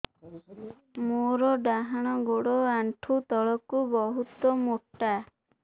ମୋର ଡାହାଣ ଗୋଡ ଆଣ୍ଠୁ ତଳୁକୁ ବହୁତ ମୋଟା